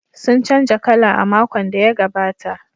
Sun canza kala a makon da ya gabata.